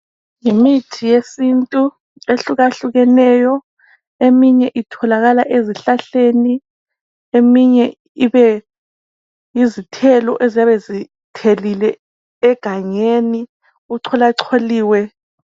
Yimithi yesintu ehlukahlukeneyo eminye itholakala ezihlahleni. Eminye ibe yizithelo eziyabe zithelile egangeni ,kucola coliwe.